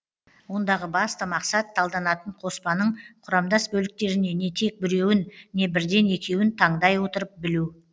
ондағы басты мақсат талданатын қоспаның құрамдас бөліктеріне не тек біреуін не бірден екеуін тандай отырып білу